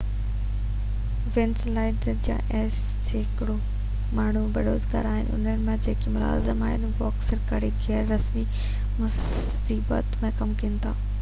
Venezuelans جا اسي سيڪڙو ماڻهو بيروزگار آهن ۽ انهن مان جيڪي ملازم آهن اهي اڪثر ڪري غير رسمي معيشت ۾ ڪم ڪن ٿا